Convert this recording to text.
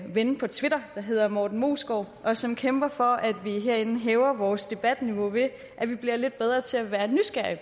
ven på twitter der hedder morten moesgaard og som kæmper for at vi herinde hæver vores debatniveau ved at vi bliver lidt bedre til at være nysgerrige